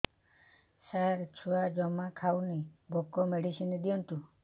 ସାର ଛୁଆ ଜମା ଖାଉନି ଭୋକ ମେଡିସିନ ଦିଅନ୍ତୁ